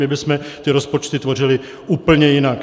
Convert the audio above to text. My bychom ty rozpočty tvořili úplně jinak.